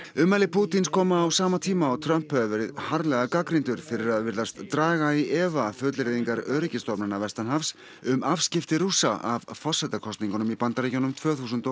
ummæli Pútíns koma á sama tíma og Trump hefur verið harðlega gagnrýndur fyrir að virðast draga í efa fullyrðingar öryggisstofnana vestanhafs um afskipti Rússa af forsetakosningunum í Bandaríkjunum tvö þúsund og